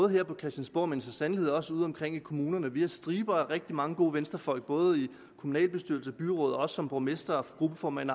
her på christiansborg men så sandelig også ude i kommunerne vi har striber af rigtig mange gode venstrefolk ude i kommunalbestyrelser og byråd som borgmestre gruppeformænd